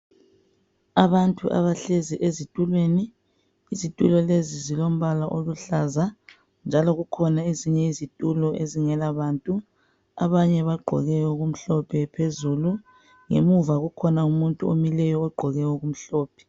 Abantu abahlezi ezitulweni. Izitulo lezi zilombala oluhlaza njalo kukhona ezinye izitulo ezingela bantu. Abanye bagqoke okumhlophe phezulu, ngemuva kukhona umuntu omileyo ogqoke okumhlophe.